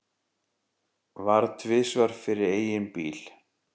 Varð tvisvar fyrir eigin bíl